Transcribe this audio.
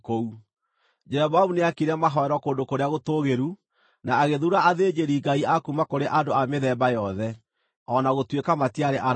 Jeroboamu nĩaakire mahooero kũndũ kũrĩa gũtũũgĩru, na agĩthuura athĩnjĩri-ngai a kuuma kũrĩ andũ a mĩthemba yothe, o na gũtuĩka matiarĩ Alawii.